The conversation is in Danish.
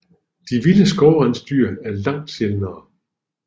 De vilde skovrensdyr er langt sjældnere